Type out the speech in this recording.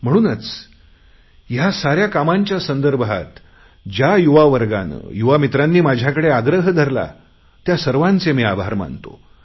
म्हणूनच या साऱ्या कामांच्या संदर्भात ज्या युवा वर्गाने युवा मित्रांनी माझ्याकडे आग्रह धरला त्या सर्वांचे मी आभार मानतो